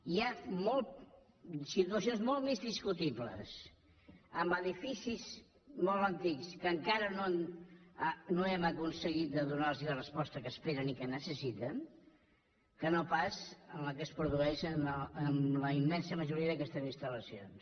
hi ha situacions molt més discutibles en edificis molt antics que encara no hem aconseguit de donar·los la resposta que esperen i que necessiten que no pas en la que es produeix en la immensa majoria d’aquestes instal·lacions